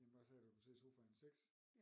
Ja men hvad sagde du der kunne side i sofaen 6